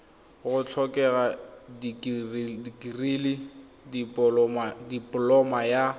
go tlhokega dikirii dipoloma ya